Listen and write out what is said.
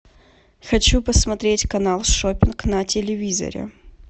хочу посмотреть канал шоппинг на телевизоре